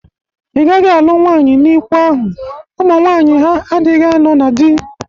Ị gaghị alụ nwaanyị n'ikwu ahụ. Ụmụ nwaanyị ha adịghị anọ na dị!